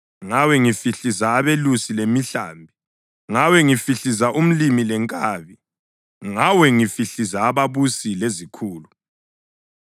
ngawe ngihlifiza abelusi lemihlambi, ngawe ngihlifiza umlimi lenkabi, ngawe ngihlifiza ababusi lezikhulu.